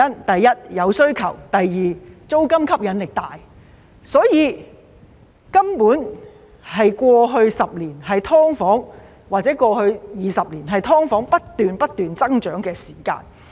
第一，有需求；第二，租金吸引力大，所以，過去10年或20年，根本是"劏房"不斷、不斷增長的時間。